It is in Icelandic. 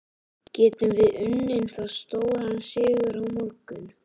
Getum við unnið það stóran sigur á morgun?